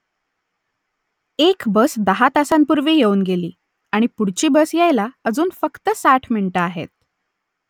एक बस दहा तासांपूर्वी येऊन गेली आणि पुढची बस यायला अजून फक्त साठ मिनिटं आहेत